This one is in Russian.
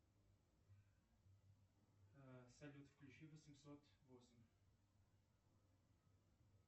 салют включи восемьсот восемь